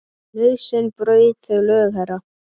Nauðsyn braut þau lög, herra.